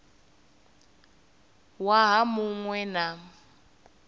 waha mu ṅ we na